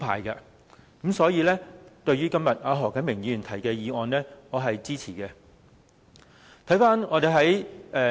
因此，對於何啟明議員今天提出的議案，我是支持的。